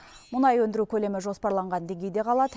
мұнай өндіру көлемі жоспарланған деңгейде қалады